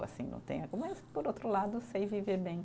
Assim não tenho, mas, por outro lado, sei viver bem.